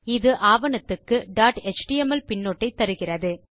இது ஆவணத்துக்கு dot HTML பின்னொட்டை தருகிறது